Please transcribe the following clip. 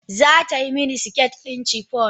Za ta yi mini siket ɗin chiffon.